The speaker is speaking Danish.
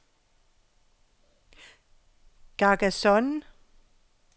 Carcassonne